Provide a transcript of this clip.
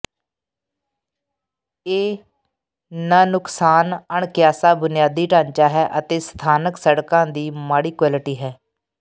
ਇਹ ਨਨੁਕਸਾਨ ਅਣਕਿਆਸਾ ਬੁਨਿਆਦੀ ਢਾਂਚਾ ਹੈ ਅਤੇ ਸਥਾਨਕ ਸੜਕਾਂ ਦੀ ਮਾੜੀ ਕੁਆਲਿਟੀ ਹੈ